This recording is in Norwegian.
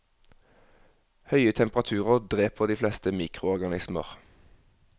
Høye temperaturer dreper de fleste mikroorganismer.